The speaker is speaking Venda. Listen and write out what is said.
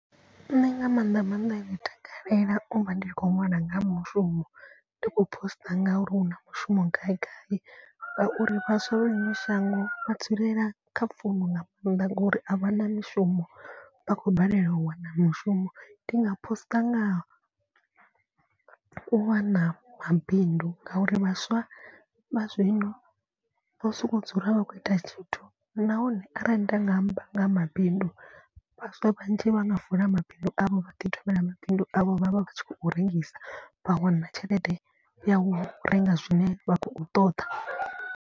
Nṋe nga maanḓa maanḓa ndi takalela u vha ndi tshi khou ṅwala nga mushumo ndi khou post ngauri hu na mushumo gaigai. Ngauri vhaswa vha ḽino shango vha dzulela kha founu nga mannḓa ngori a vha na mishumo vha khou balelwa u wana mushumo. Ndi nga poster ngaha u wana mabindu ngauri vhaswa vha zwino vho soko dzula a vha khou ita tshithu. Nahone arali nda nga amba nga ha mabindu vhaswa vhanzhi vha nga vula mabindu avho vha ḓi thomela mabindu avho vha vha vha tshi khou rengisa. Vha wana tshelede ya u renga zwine vha khou ṱoḓa.